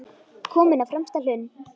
Kominn á fremsta hlunn.